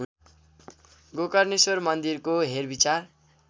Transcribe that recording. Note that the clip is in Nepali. गोकर्णेश्वर मन्दिरको हेरविचार